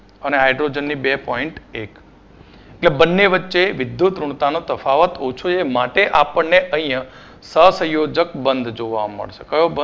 અને હાઈડ્રોજનની point એક એટલે બંને વચ્ચે વિદ્યુતઋણતાનો તફાવત ઓછો છે માટે આપણને અહીંયા સહસંયોજક બંધ જોવા મળશે કયો બંંધ